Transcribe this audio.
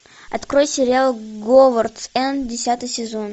открой сериал говардс энд десятый сезон